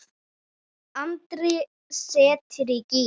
Andri setti í gír.